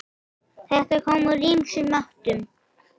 Þetta kom úr ýmsum áttum.